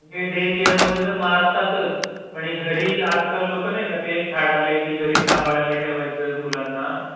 Day केअरमध्ये तर मारतातच. पण एक घरी आजकाल लोकं नाही का ते एक फॅड आलंय की घरी सांभाळायला ठेवायचं मुलांना.